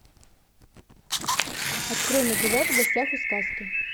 открой на тв в гостях у сказки